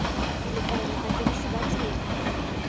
le kaela badirisi ba tsela